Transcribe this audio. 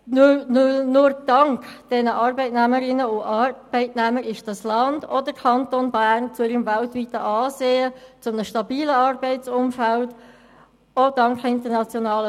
Nur dank diesen Arbeitnehmerinnen und Arbeitnehmern und auch internationalen Firmen sind dieses Land und der Kanton Bern zu ihrem weltweiten Ansehen und zu einem stabilen Arbeitsumfeld gelangt.